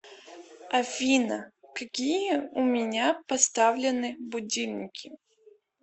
афина какие у меня поставлены будильники